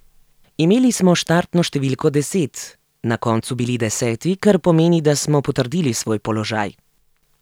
Imeli smo štartno številko deset, na koncu bili deseti, kar pomeni, da smo potrdili svoj položaj.